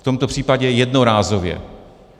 V tomto případě jednorázově.